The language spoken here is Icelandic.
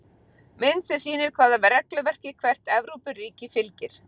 Mynd sem sýnir hvaða regluverki hvert Evrópuríki fylgir.